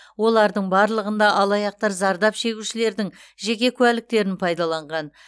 олардың барлығында алаяқтар зардап шегушілердің жеке куәліктерін пайдаланған